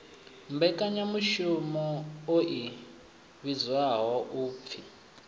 mmbekanyamushumo i vhidzwaho u p